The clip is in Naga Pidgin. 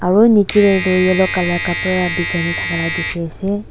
aru nicche te tu yellow colour kapra bichai na thaka lah dikhi ase.